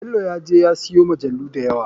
Belo ya je ya siyo majalu dayawa.